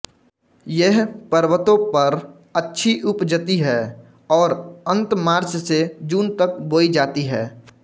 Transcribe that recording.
यह पर्वतों पर अच्छी उपजती है और अंत मार्च से जून तक बोई जाती है